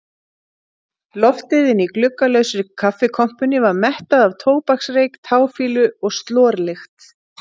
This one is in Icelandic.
Loftið inni í gluggalausri kaffikompunni var mettað af tóbaksreyk, táfýlu og slorlykt.